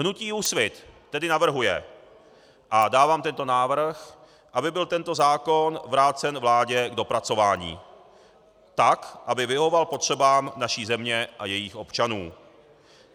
Hnutí Úsvit tedy navrhuje, a dávám tento návrh, aby byl tento zákon vrácen vládě k dopracování tak, aby vyhovoval potřebám naší země a jejích občanů.